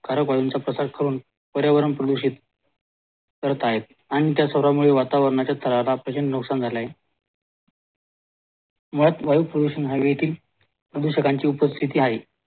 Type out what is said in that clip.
कारक वायूंचा प्रसार करून पर्यावरण प्रदूषित करत आहेत आणि त्या सर्वांमुळे वातावरणाचा नुकसान झाला आहे वायू प्रदूषण हवेतील प्रदुषणाची उपस्तीथी आहे